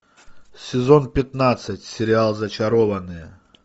сезон пятнадцать сериал зачарованные